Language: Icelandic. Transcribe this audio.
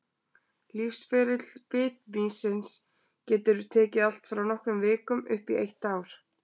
Lífsferill bitmýsins getur tekið allt frá nokkrum vikum upp í eitt ár.